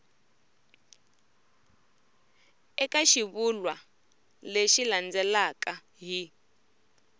eka xivulwa lexi landzelaka hi